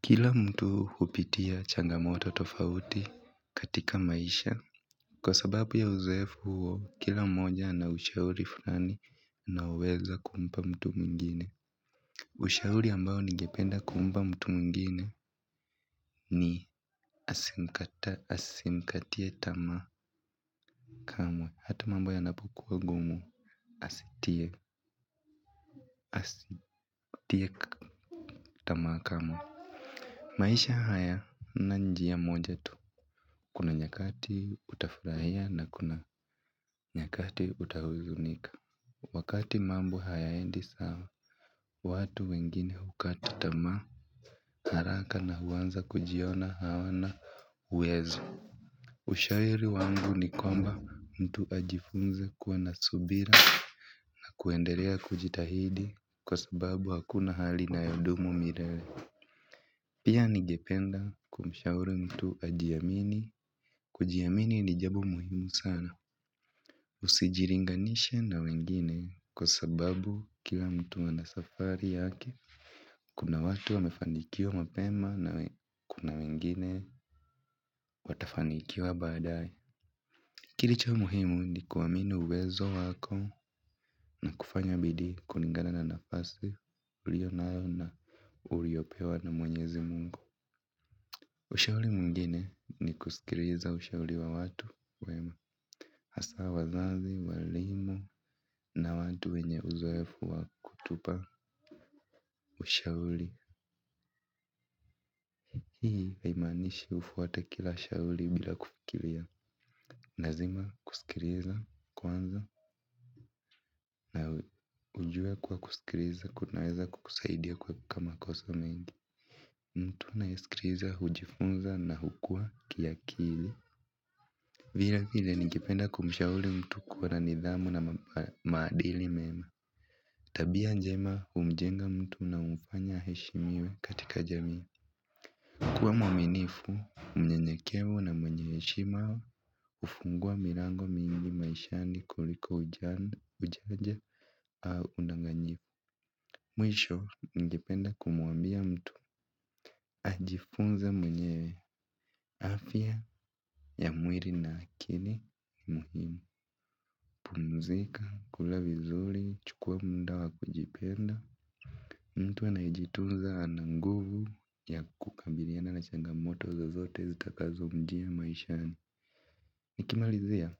Kila mtu hupitia changamoto tofauti katika maisha. Kwa sababu ya uzoefu huo, kila mmoja ana ushauri fulani anaoweza kumpa mtu mwingine. Ushauri ambao ningependa kumpa mtu mwingine ni asikate tamaa kamwe hata mambo yanapokuwa ngumu, asikate tamaa kamwe. Maisha haya haina njia moja tu, kuna nyakati utafurahia na kuna nyakati utahuzunika. Wakati mambo hayaendi sawa, watu wengine hukata tamaa haraka na huanza kujiona hawana uwezo. Ushauri wangu ni kwamba mtu ajifunze kuwa na subira na kuendelee kujitahidi kwa sababu hakuna hali inayodumu milele. Pia ningependa kumshauri mtu ajiamini, kujiamini ni jambo muhimu sana. Usijilinganishe na wengine kwa sababu kila mtu ana safari yake. Kuna watu wamefanikiwa mapema na kuna wengine watafanikiwa baadaye. Kilicho muhimu ni kuamini uwezo wako na kufanya bidii kulingana na nafasi uliyo nayo na uliyopewa na Mwenyezi Mungu. Ushauri mwingine ni kusikiliza ushauri wa watu wema. Hasa wazazi, walimu na watu wenye uzoefu wa kutupa ushauri. Hii haimaanishi ufuate kila ushauri bila kufikiria. Ni lazima kusikiliza kwanza na ujue kuwa kusikiliza kunaweza kukusaidia kwa makosa mengi. Mtu anayesikiliza, hujifunza na hukua kiakili. Vile vile ningependa kumshauri mtu kuwa na nidhamu na maadili mema. Tabia njema humjenga mtu na humfanya aheshimiwe katika jamii. Kuwa mwaminifu, mnyenyekevu na mwenye heshima hufungua milango mingi maishani kuliko ujanja au udanganyifu. Mwisho, ningependa kumwambia mtu. Ajifunze mwenyewe afya ya mwili na akili ni muhimu. Pumzika, kula vizuri, chukua muda wa kujipenda. Mtu anayejitunza ana nguvu ya kukabiliana na changamoto zozote zitakazomjia maishani. Nikimalizia